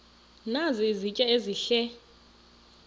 nazi izitya ezihle